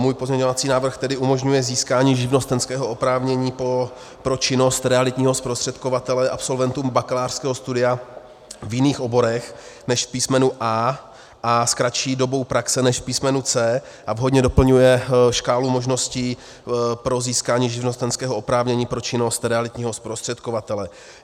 Můj pozměňovací návrh tedy umožňuje získání živnostenského oprávnění pro činnost realitního zprostředkovatele absolventům bakalářského studia v jiných oborech než v písmenu A a s kratší dobou praxe než v písmenu C a vhodně doplňuje škálu možností pro získání živnostenského oprávnění pro činnost realitního zprostředkovatele.